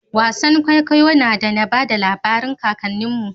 Wasan kwaikwayo na da na bada labarin kakannin mu